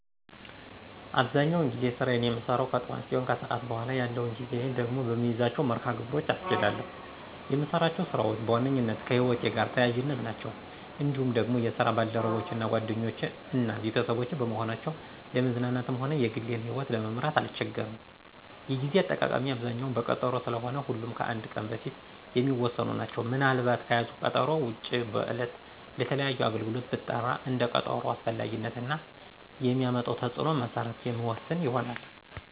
አብዛኛውን ጊዜ ስራየን የምሰራው ከጥዋት ሲሆን ከሰዓት በኋላ ያለውን ጊዜየን ደግሞ በምይዛቸው መርሀ ግብሮች አስኬዳለሁ። የምሰራቸው ስራዎች በዋነኛነት ከህይወቴ ጋር ተያያዥ ናቸው። እንዲሁም ደግሞ የስራ ባልደረቦቼ ጓደኞቼ እና ቤተሰቦቼ በመሆናቸው ለመዝናናትም ሆነ የግሌን ይህወት ለመምራት አልቸገርም። የጌዜ አጠቃቀሜ አብዛኛው በቀጠሮ ስለሆነ ሁሉም ከአንድ ቀን በፊት የሚወሰኑ ናቸው። ምን አልባት ከያዝኩት ቀጠሮ ውጭ በዕለት ለተለያዩ አገልግሎት ብጠራ እንደ ቀጠሮው አስፈላጊነት እና የሚያመጣው ተፅዕኖ መሰረት የምወስን ይሆናል።